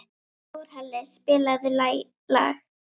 Þórhalli, spilaðu lag.